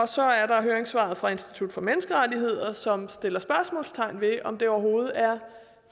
så er der høringssvaret fra institut for menneskerettigheder som sætter spørgsmålstegn ved om det overhovedet er